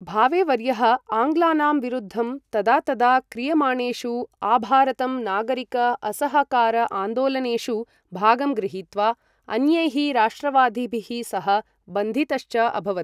भावेवर्यः आङ्ग्लानां विरुद्धं तदा तदा क्रियमाणेषु आभारतं नागरिक असहकार आन्दोलनेषु भागं गृहीत्वा, अन्यैः राष्ट्रवादिभिः सह बन्धितश्च अभवत्।